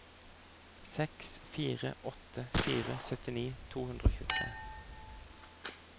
seks fire åtte fire syttini to hundre og tjuetre